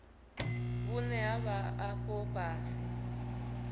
vhune ha vha afho fhasi